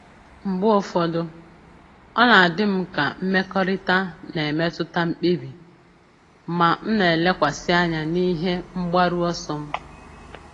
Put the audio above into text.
Mgbe ụfọdụ, ọ na-adị m ka mmekọrịta na-emetụta mkpebi, ma m na-elekwasị anya n'ihe mgbaru ọsọ m.